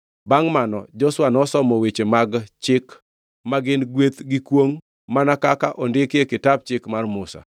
Bangʼ mano, Joshua nosomo weche mag chik ma gin, gweth gi kwongʼ mana kaka ondikgi e Kitap Chik mar Musa.